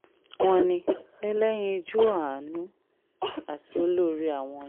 wọ́n ní ẹlẹ́yinjú-àánú àti olóore àwọn ni